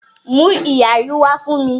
Mú ìyarí wá fún mi!